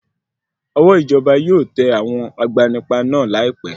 Ọwọ́ ìjọba yóò tẹ àwọn agbanipa náà láìpé.